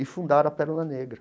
E fundaram a Pérola Negra.